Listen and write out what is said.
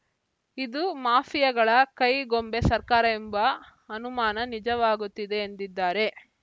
ಇದು ಮಾಫಿಯಾಗಳ ಕೈಗೊಂಬೆ ಸರ್ಕಾರ ಎಂಬ ಅನುಮಾನ ನಿಜವಾಗುತ್ತಿದೆ ಎಂದಿದ್ದಾರೆ